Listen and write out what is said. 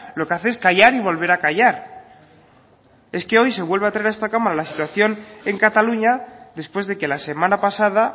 lo que hace es callar y volver a callar es que hoy se vuelve a traer a esta cámara la situación en cataluña después de que la semana pasada